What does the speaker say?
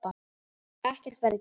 Ekkert verði gert.